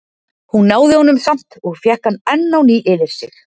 Hún náði honum samt og fékk hann enn á ný yfir sig.